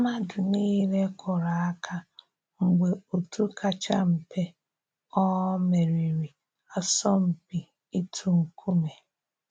Mmadụ niile kụrụ aka mgbe òtù kacha mpe um meriri asọmpi itu nkume